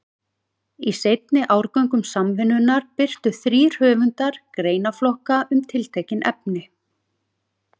Í seinni árgöngum Samvinnunnar birtu þrír höfundar greinaflokka um tiltekin efni.